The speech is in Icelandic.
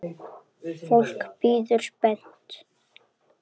Fólk bíður spennt.